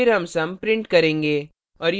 फिर sum sum print करेंगे